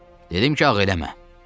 Dedim ki, ağ eləmə!